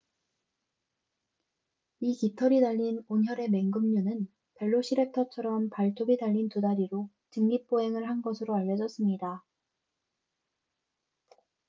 이 깃털이 달린 온혈의 맹금류는 벨로시랩터처럼 발톱이 달린 두 다리로 직립 보행을 한 것으로 알려졌습니다